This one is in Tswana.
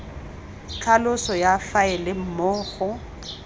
tlhaloso ya faele moo go